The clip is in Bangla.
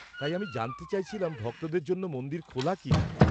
তাই, আমি জানতে চাইছিলাম ভক্তদের জন্য মন্দির খোলা কিনা।